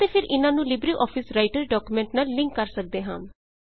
ਅਤੇ ਫੇਰ ਇਹਨਾਂ ਨੂੰ ਲਿਬ੍ਰੇ ਆਫਿਸ ਰਾਈਟਰ ਡਾਕੂਮੈਂਟ ਨਾਲ ਲਿੰਕ ਕਰ ਸੱਕਦੇ ਹਾਂ